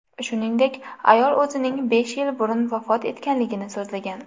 Shuningdek, ayol o‘zining besh yil burun vafot etganligini so‘zlagan.